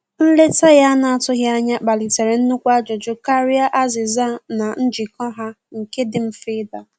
Nleta ya ana atụghi anya kpalitere nukwụ ajụjụ karịa azìza na njiko ha nke di mfe ida